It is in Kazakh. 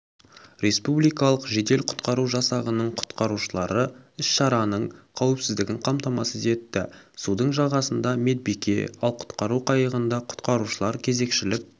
республикалық жедел-құтқару жасағының құтқарушылары іс-шараның қауіпсіздігін қамтамасыз етті судың жағасында медбике ал құтқару қайығында құтқарушылар кезекшілік